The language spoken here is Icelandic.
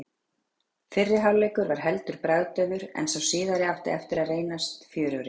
Fyrri hálfleikur var heldur bragðdaufur en sá síðari átti eftir að reyndast fjörugri.